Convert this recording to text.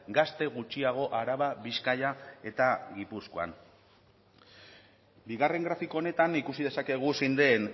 gazte gutxiago araba bizkaia eta gipuzkoan bigarren grafiko honetan ikusi dezakegu zein den